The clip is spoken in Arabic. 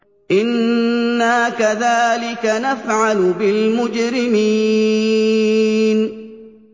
إِنَّا كَذَٰلِكَ نَفْعَلُ بِالْمُجْرِمِينَ